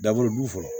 Dabɔli du fɔlɔ